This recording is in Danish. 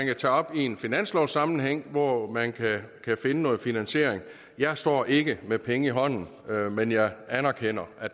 kan tage op i en finanslovssammenhæng hvor man kan finde noget finansiering jeg står ikke med penge i hånden men jeg anerkender at